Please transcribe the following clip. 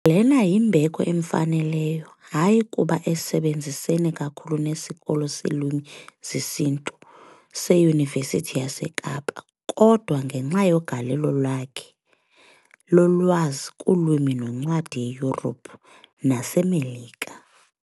Lena yimbeko emfaneleyo, hayi kuba esebenzisene kakhulu nesiKolo seeLwimi zesiNtu seYunivesithi yaseKapa, kodwa ngenxa yegalelo lakhe lolwazi kuLwimi noNcwadi eYurophu naseMelika .